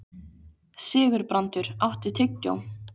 Sigurbrandur, áttu tyggjó?